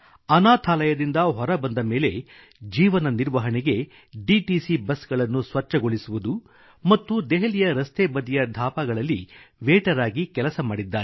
ಅನಾಥಾಲಯದಿಂದ ಹೊರಬಂದ ಮೇಲೆ ಜೀವನ ನಿರ್ವಹಣೆಗೆ ಡಿಟಿಸಿ ಬಸ್ಗಳನ್ನು ಸ್ವಚ್ಛಗೊಳಿಸುವುದು ಮತ್ತು ದೆಹಲಿಯ ರಸ್ತೆ ಬದಿಯ ಧಾಬಾಗಳಲ್ಲಿ ವೇಟರ್ ಆಗಿ ಕೆಲಸ ಮಾಡಿದ್ದಾರೆ